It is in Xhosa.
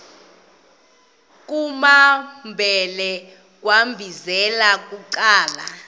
kumambhele wambizela bucala